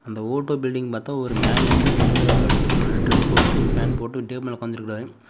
அந்த auto building பாத்த ஒரு மேன் வந்து கையில ஒரு டிரஸ் போட்டு பேன்ட் போட்டு ஒரு டேபிள் மேல உக்காந்துருக்காரு.